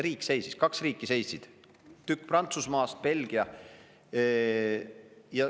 Riik seisis, kaks riiki seisid, tükk Prantsusmaast, Belgia.